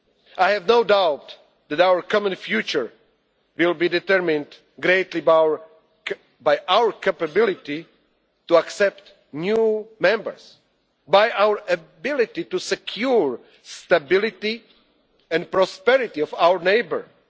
free and prosperous. I have no doubt that our common future will be determined greatly by our capability to accept new members, by our ability to secure the stability and prosperity of